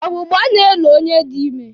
Ọgbụgbọ na-elo onye dị ime.